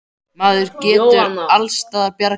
Maður getur alls staðar bjargað sér.